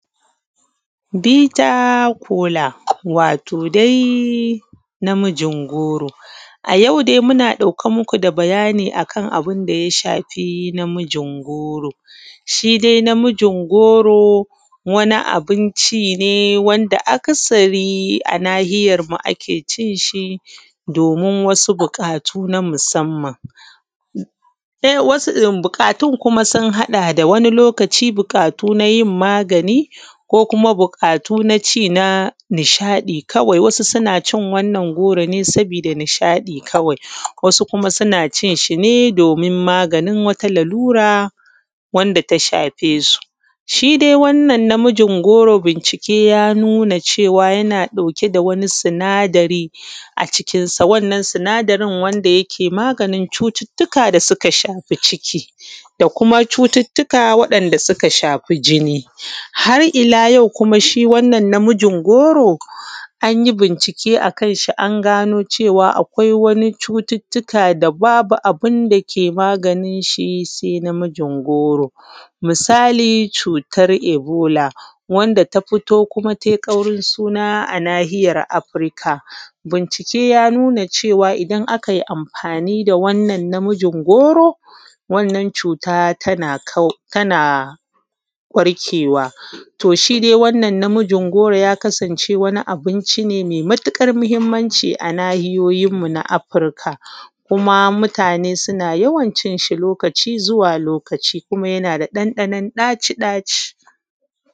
Bita kola wato dai namijin goro. A yau dai muna ɗauke muku da bayanin daya shafi namijin goro. Shidai namijin goro wani abunci ne wanda akasari a nahiyar mu ake cinshi domin wasu buƙatu na musamman buƙatun kuma sun haɗa da. Wani lokaci buƙatu nayin magani ko kuma buƙatu naci na nishaɗi kawai wasu sunacin wannan goro ne saboda nisha ɗi kawai, wasu kuma suna cin shine domin maganin wata lalura data shafe su. Shidai wannan namijin goro bincike ya nuna cewa yana ɗauke da wani sina dari a cikin sa wannan sinadarin wanda yake maganin cututtuka da suka shafi ciki ko kuma cututtuka wa ‘yan’ da suka shafi jini. Har illa yau shi wannan namijin goro anyi bincike akan shi an cewa akwai wani cututtuka da babu abunda ke maganinshi sai namijin goro. Misali cutar Ebola wanda ta fito kuma tai ƙaurin suna a nahiyar afirika bincike ya nuna cewa idan akai amfani da wannan namijin goron wannan cuta tana kau tana warkewa. Shidai wannan namijin goro ya kasance wani abinci ne mai matuƙar mahimmanci a nahiyoyin mu na afirika kuma mutane suna yawan cinshi lokaci zuwa lokaci kuma yana da ɗan ɗanon ɗaci ɗaci.